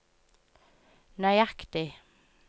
nøyaktig